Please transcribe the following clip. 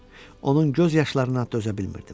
Onun göz yaşlarına dözə bilmirdim.